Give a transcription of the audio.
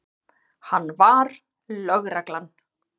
Hann var lögreglan.